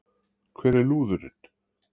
Hvar er lúðurinn?